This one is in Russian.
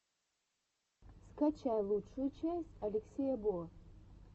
скачай лучшую часть алексея бо